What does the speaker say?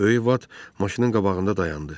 Böyük Bat maşının qabağında dayandı.